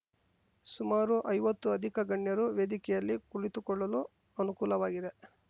ಸುಮಾರು ಐವತ್ತು ಅಧಿಕ ಗಣ್ಯರು ವೇದಿಕೆಯಲ್ಲಿ ಕುಳಿತುಕೊಳ್ಳಲು ಅನುಕೂಲವಾಗಿದೆ